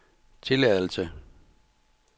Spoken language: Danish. tilladelse